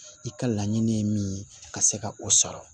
I ka laɲini ye min ye ka se ka o sɔrɔ